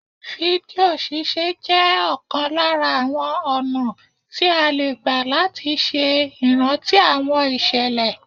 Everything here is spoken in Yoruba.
Fídíò ṣíṣe jẹ́ ọ̀kan lára àwọn ọ̀nà tí a lè gbà láti ṣe ìrántí àwọn ìṣẹ̀lẹ̀